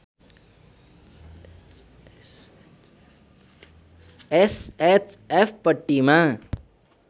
SHF पट्टीमा